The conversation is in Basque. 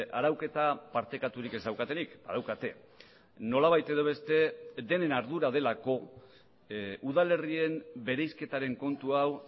arauketa partekaturik ez daukatenik badaukate nolabait edo beste denen ardura delako udal herrien bereizketaren kontu hau